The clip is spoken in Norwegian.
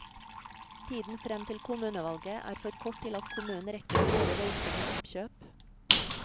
Tiden frem til kommunevalget er for kort til at kommunen rekker å gjøre voldsomme oppkjøp.